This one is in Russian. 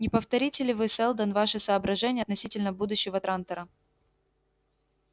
не повторите ли вы сэлдон ваши соображения относительно будущего трантора